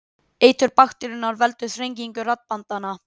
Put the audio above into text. Eitur bakteríunnar veldur þrengingu raddbandanna.